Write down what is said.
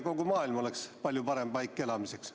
Kogu maailm oleks palju parem paik elamiseks.